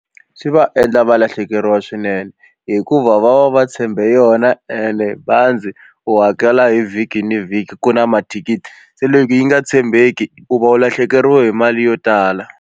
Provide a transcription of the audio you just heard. Swi va endla va lahlekeriwa swinene hikuva va va va tshembe yona ene bazi u hakela hi vhiki na vhiki ku na mathikithi se loko yi nga tshembeki u va u lahlekeriwe hi mali yo tala.